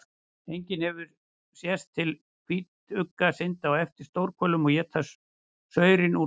Einnig hefur sést til hvítugga synda á eftir stórhvölum og éta saurinn úr þeim.